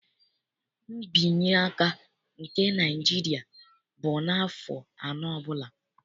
Nbinyeaka nke Naịjiria bụ n'afọ anọ ọbụla.